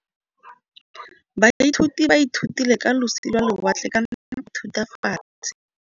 Baithuti ba ithutile ka losi lwa lewatle ka nako ya Thutafatshe.